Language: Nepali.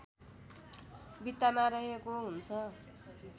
भित्तामा रहेको हुन्छ